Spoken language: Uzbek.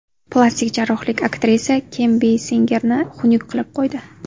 Plastik jarrohlik aktrisa Kim Beysingerni xunuk qilib qo‘ydi.